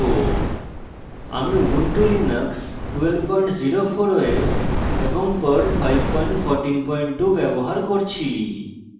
ifelse statement আমরা শিখব আমি ubuntu linux 1204 os এবং perl 5142 ব্যবহার করছি